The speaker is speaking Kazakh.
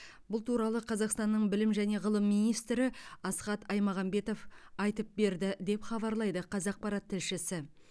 бұл туралы қазақстанның білім және ғылым министрі асхат аймағамбетов айтып берді деп хабарлайды қазақпарат тілшісі